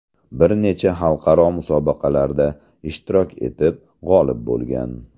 Bir necha xalqaro musobaqalarda ishtirok etib, g‘olib bo‘lgan.